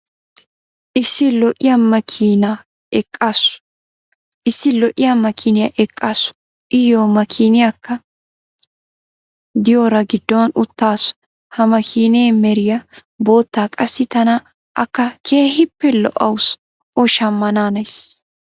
issi lo'iya makiiniya eqaasu. iyo makkiinaykka diyoora giddon utaasu. ha makkiinee meray bootta qassi tana akka keehippe lo'awusu o shammanaanays..